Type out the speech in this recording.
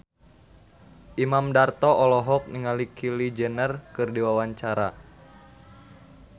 Imam Darto olohok ningali Kylie Jenner keur diwawancara